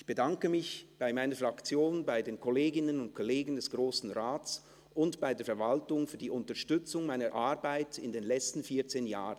«Ich bedanke mich bei meiner Fraktion, bei den Kolleginnen und Kollegen des Grossen Rates und bei der Verwaltung für die Unterstützung meiner Arbeit in den letzten vierzehn Jahren.